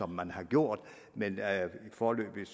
man har gjort men foreløbig